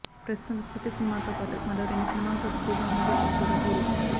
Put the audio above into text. ప్రస్తుతం సీత సినిమాతో పాటు మరో రెండు సినిమాలతో బిజీగా ఉన్నాడు ఈ కుర్ర హీరో